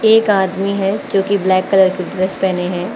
एक आदमी है क्योंकि ब्लैक कलर की ड्रेस पहने हैं।